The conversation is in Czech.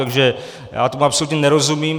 Takže já tomu absolutně nerozumím.